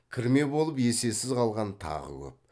кірме болып есесіз қалған тағы көп